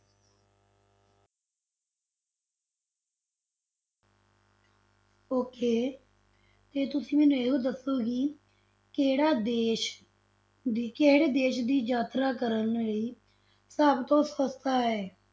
Okay ਤੇ ਤੁਸੀਂ ਮੈਨੂੰ ਇਹ ਦੱਸੋ ਕਿ ਕਿਹੜਾ ਦੇਸ ਦੀ ਕਿਹੜੇ ਦੇਸ ਦੀ ਯਾਤਰਾ ਕਰਨ ਲਈ ਸਭ ਤੋਂ ਸਸਤਾ ਹੈ?